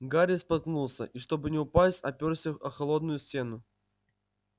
гарри споткнулся и чтобы не упасть опёрся о холодную стену